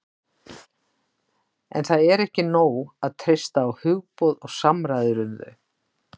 En það er ekki nóg að treysta á hugboð og samræður um þau.